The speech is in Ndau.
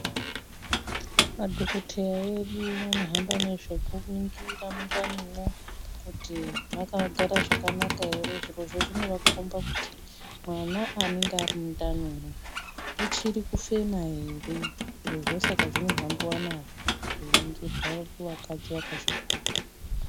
Madhokoteya edu anohamba nezvekuringira mundanimwo, kuti makagara zvakanaka ere zvirozvinovakomba kuti mwana anenge ari mundanimwu uchiri kufema ere. Zvirizvo saka zvinohambiwa nazvo zveiningirwa kuvakadzi vakazvitwara.